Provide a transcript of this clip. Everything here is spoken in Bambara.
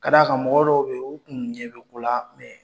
K'a d'a kan mɔgɔ dɔw bɛ o kun ɲɛ bɛ ko la mɛ